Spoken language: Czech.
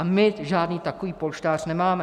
A my žádný takový polštář nemáme.